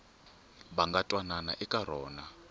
va nga twanana eka rona